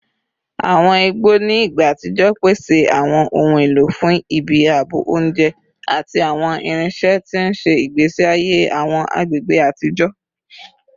Awọn igbo ni igba atijọ pese awọn ohun elo fun ibi aabo, ounjẹ, ati awọn irinṣẹ, ti n ṣe igbesi aye awọn agbegbe atijọ